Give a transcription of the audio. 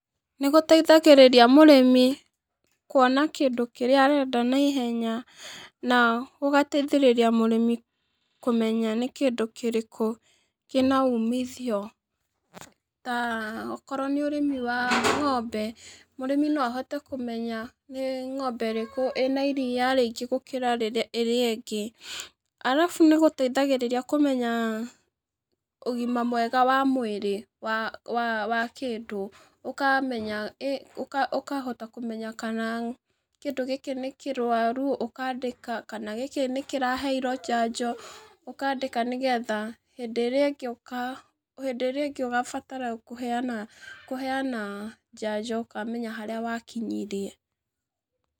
Nĩgũteithagĩrĩria mũrĩmĩ kũona kĩndũ kĩrĩa arenda na ihenya na gũgateithĩrĩria mũrĩmĩ kũmenya nĩ kĩndũ kĩrĩkũ kĩna umithio. Ta okorwo nĩ ũrĩmi wa ng'ombe, mũrĩmi no ahote kũmenya nĩ ng'ombe ĩrĩkũ ĩna iria rĩingĩ gũkĩra ĩrĩa ĩngĩ. Arabu nĩgũteithagĩrĩria kũmenya ũgĩma mwega wa mwĩrĩ wa kĩndũ ũkamenya, ũkahota kũmenya kana kĩndũ gĩkĩ nĩ kĩrwaru ũkandĩka, kana gĩkĩ nĩkĩraheĩrwo njanjo ũkandĩka, nĩgetha hĩndĩ ĩrĩa ĩngĩ ũgabatara kũheana kũheana njanjo ũkamenya harĩa wakĩnyĩrie.